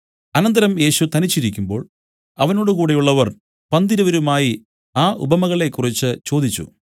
അനന്തരം യേശു തനിച്ചിരിക്കുമ്പോൾ അവനോടുകൂടെയുള്ളവർ പന്തിരുവരുമായി ആ ഉപമകളെക്കുറിച്ച് ചോദിച്ചു